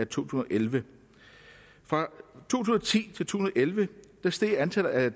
tusind og elleve fra to tusind og ti til to tusind og elleve steg antallet af